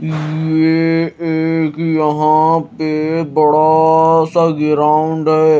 ये एक यह पे बाद सा ग्राउंड है।